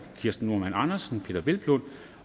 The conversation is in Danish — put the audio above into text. kirsten normann andersen peder hvelplund